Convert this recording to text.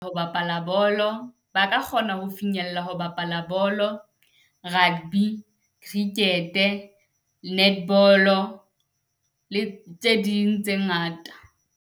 Ho bapala bolo ba ka kgona ho finyella ho bapala bolo, rugby, cricket, netball le tse ding tse ngata.